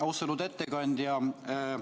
Austatud ettekandja!